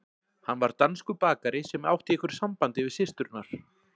Hann var danskur bakari sem átti í einhverju sambandi við systurnar.